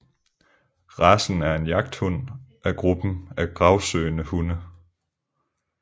Racen er en jagthund af gruppen af gravsøgende hunde